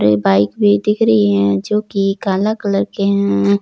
ये बाइक भी दिख रही है जो कि काला कलर के है।